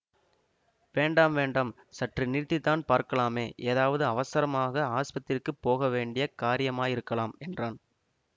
வேண்டாம் வேண்டாம் சற்று நிறுத்தித்தான் பார்க்கலாமே ஏதாவது அவசரமாக ஆஸ்பத்திரிக்குப் போகவேண்டிய காரியமாயிருக்கலாம் என்றான்